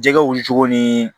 Jɛgɛw wuli cogo ni